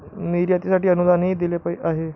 निर्यातीसाठी अनुदानही दिले आहे.